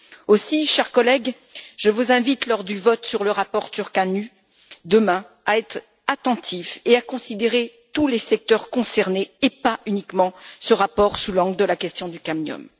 Aussi, chers collègues, je vous invite, lors du vote sur le rapport Ţurcanu, demain, à être attentifs et à considérer tous les secteurs concernés et pas uniquement ce rapport sous l'angle de la question du cadmium.